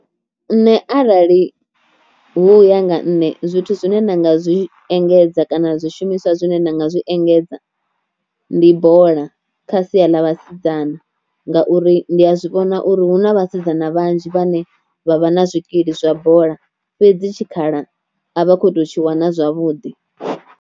Nṋe arali hu uya nga nṋe zwithu zwine nda nga zwi engedza kana zwishumiswa zwine nda nga zwi engedza, ndi bola kha sia ḽa vhasidzana ngauri ndi a zwi vhona uri hu na vhasidzana vhanzhi vhane vha vha na zwikili zwa bola fhedzi tshikhala a vha khou tou tshi wana zwavhuḓi.